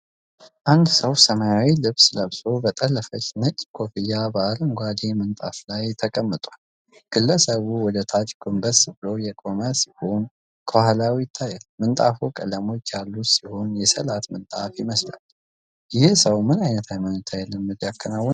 አንድ ሰው ሰማያዊ ልብስ ለብሶ፣ በጠለፈች ነጭ ኮፍያ በአረንጓዴ ምንጣፍ ላይ ተቀምጧል። ግለሰቡ ወደ ታች ጎንበስ ብሎ የቆመ ሲሆን ከኋላው ይታያል። ምንጣፉ ቀለሞች ያሉት ሲሆን የሰላት ምንጣፍ ይመስላል። ይህ ሰው ምን ዓይነት ሃይማኖታዊ ልምምድ ያከናውናል?